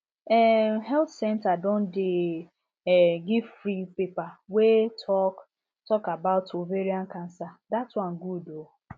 um health centre don dey um give free paper wey talk talk dey about ovarian cancer that one good um